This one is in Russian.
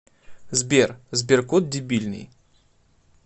сбер сберкот дебильный